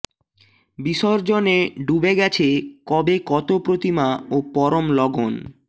বিসর্জনে ডুবে গেছে কবে কত প্রতিমা ও পরম লগন